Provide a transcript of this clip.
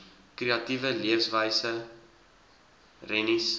kreatiewe leefwyse rennies